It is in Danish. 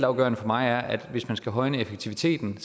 afgørende for mig er at hvis man skal højne effektiviteten